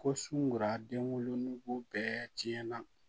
Ko sunkuraden wolonugu bɛɛ tiɲɛna